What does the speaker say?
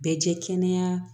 Bɛɛ jɛ kɛnɛya